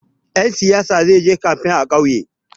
Ɗan siyaya zai je kamfen a ƙauye.